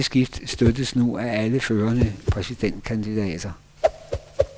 Dette skift støttes nu af alle førende præsidentkandidater.